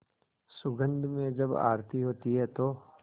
सुगंध में जब आरती होती है तो